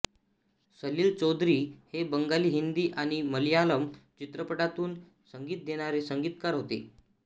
सलील चौधरी हे बंगाली हिंदी आणि मलयालम चित्रपटांतून संगीत देणारे संगीतकार होते